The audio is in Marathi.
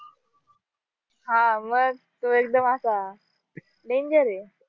हा मग तो एक असा danger आहे